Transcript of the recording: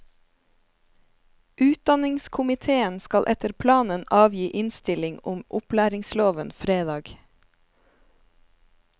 Utdanningskomiteen skal etter planen avgi innstilling om opplæringsloven fredag.